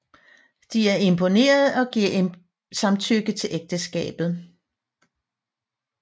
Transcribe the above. De er imponerede og giver samtykke til ægteskabet